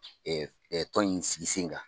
tɔn in sigi sen kan.